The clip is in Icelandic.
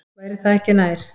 Væri það ekki nær?